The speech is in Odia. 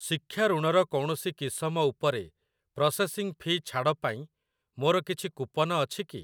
ଶିକ୍ଷା ଋଣ ର କୌଣସି କିସମ ଉପରେ ପ୍ରସେସିଂ ଫି ଛାଡ ପାଇଁ ମୋର କିଛି କୁପନ ଅଛି କି?